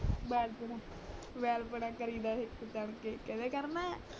ਵੈਲਪੁਣਾ ਵੈਲਪੁਣਾ ਕਰੀ ਦਾ ਹਿੱਕ ਤਨ ਕੇ ਕੇਹ ਦੇ ਕਰਨਾ ਹੈ